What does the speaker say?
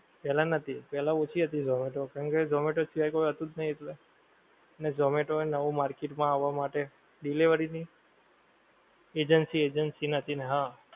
પેહલા નથી પેહલા ઓછી હતી zomato હવે તો કારણ કે zomato શિવાય કોઈ હતુંજ નહીં ને zomato ને નવું agency agency market માં આવા માટે delivery ની એજન્સી એજન્સી નતી હ